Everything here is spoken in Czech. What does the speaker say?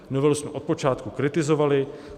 Novelu jsme od počátku kritizovali.